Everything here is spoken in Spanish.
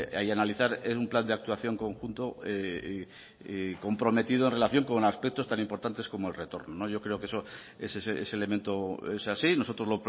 y analizar un plan de actuación conjunto y comprometido en relación con aspectos tan importantes como el retorno yo creo que ese elemento es así nosotros